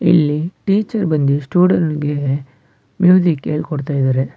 ಇಲ್ಲಿ ಟೀಚರ್ ಬಂದಿ ಸ್ಟೂಡೆಂಟ್ಸ್ ಗೆ ಮ್ಯೂಸಿಕ್ ಹೇಳ್ ಕೊಡ್ತಾ ಇದ್ದಾರೆ.